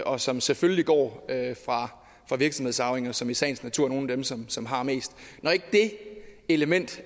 og som selvfølgelig går fra virksomhedsarvinger som i sagens natur er nogle af dem som som har mest når det element